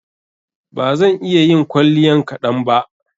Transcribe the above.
Ba zan iya yin kwalliyan kaɗan ba.